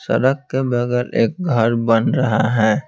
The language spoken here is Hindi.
सड़क के बगैर एक घर बन रहा है।